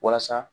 Walasa